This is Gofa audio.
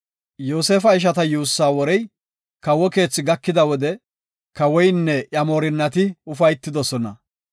Yoosefa ishata yuussaa worey kawo keethi gakida wode kawoynne iya moorinnati ufaytidosona.